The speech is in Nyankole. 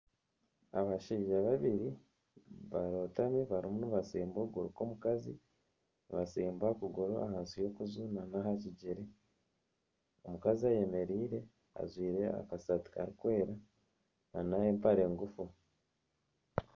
Abashaija babiri barotami barimu nibatsimba okuguru kw'omukazi. Nibatsimba okuguru ahansi y'okuju hamwe n'aha kigyere. Omukazi ayemereire ajwire akasaati karikwera na n'empare ngufu.